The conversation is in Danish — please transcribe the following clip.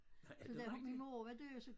Nej er det rigtigt?